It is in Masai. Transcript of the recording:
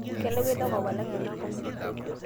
kelakua inakop alang ena kop